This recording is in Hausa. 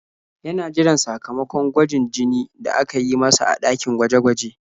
Yana jiran sakamakon gwajin jini da aka yi masa a ɗakin gwaje-gwaje.